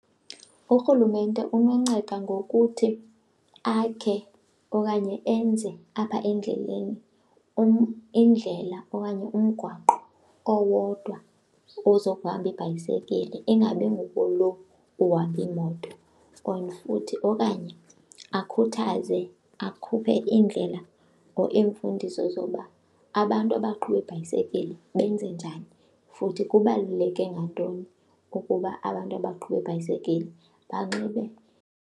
URhulumente unonceda ngokuthi akhe okanye enze apha endleleni indlela okanye umgwaqo owodwa ozohamba ibhayisekile, ingabi ngukulo uhamba iimoto. Or futhi okanye akhuthaze akhuphe iindlela or iimfundiso zokuba abantu abaqhuba iibhayisekile benze njani futhi kubaluleke ngantoni ukuba abantu abaqhuba iibhayisekile banxibe.